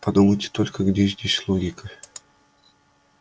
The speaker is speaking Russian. подумайте только где здесь логика